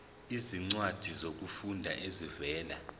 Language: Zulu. izincwadi zokufunda ezivela